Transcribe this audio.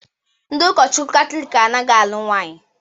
Ndị ụkọchukwu Katọlik anaghị alụ nwanyi